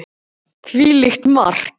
Hvílíkt mark!!